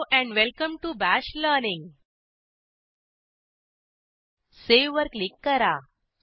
hello and welcome to bash learning save वर click करा